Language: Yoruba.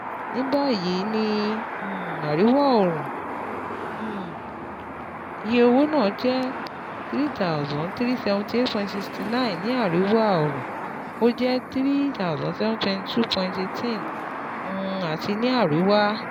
Nibayi, ni um Ariwa-õrùn, um iye owo naa jẹ N three thousand three hundred seventy eight point six nine, ni Ariwa-õrùn, o jẹ N three thousand seven hundred twenty two point one eight um ati ni Ariwa